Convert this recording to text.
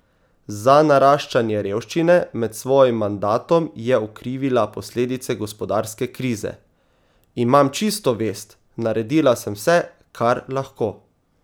Za naraščanje revščine med svojim mandatom je okrivila posledice gospodarske krize: "Imam čisto vest, naredila sem vse, kar lahko.